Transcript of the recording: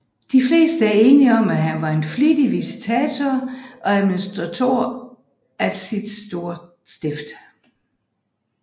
De fleste er enig om at han var en flittig visitator og administrator af sit store stift